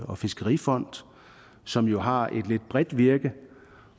og fiskerifond som jo har et lidt bredt virke